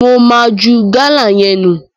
Mo ma ju Gala yẹn nu.